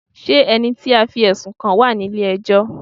Ṣé ẹni tí a fí ẹ̀sùn kàn wá ní ilé ẹjọ́?